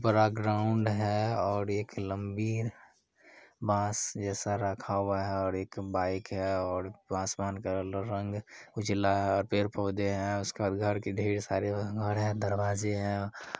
बड़ा ग्राउंड है और एक लंबी बास जैसा रखा हुआ है और एक बाइक है और आसमान का क्ल-रंग उजला है और पेड़-पौधे है उसके बाद घर के ढेर सारे घर हैं दरवाजे है।